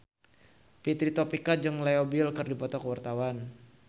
Fitri Tropika jeung Leo Bill keur dipoto ku wartawan